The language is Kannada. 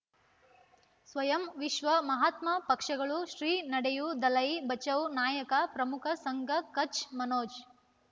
ಸ್ವಯಂ ವಿಶ್ವ ಮಹಾತ್ಮ ಪಕ್ಷಗಳು ಶ್ರೀ ನಡೆಯೂ ದಲೈ ಬಚೌ ನಾಯಕ ಪ್ರಮುಖ ಸಂಘ ಕಚ್ ಮನೋಜ್